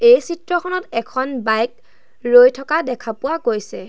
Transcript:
এই চিত্ৰখনত এখন বাইক ৰৈ থকা দেখা পোৱা গৈছে।